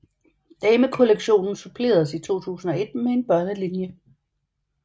Damekollektionen suppleredes i 2001 med en børnelinje